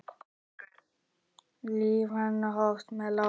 Líf hennar hófst með látum.